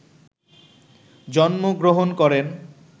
জন্মগ্র্রহণ করেন